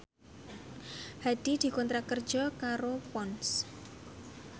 Hadi dikontrak kerja karo Ponds